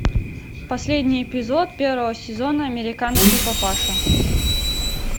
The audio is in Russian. последний эпизод первого сезона американский папаша